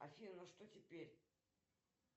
афина ну что теперь